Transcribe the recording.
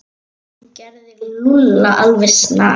Þú gerir Lúlla alveg snar,